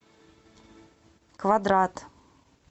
квадрат